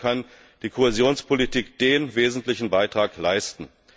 Dazu kann die Kohäsionspolitik den wesentlichen Beitrag leisten.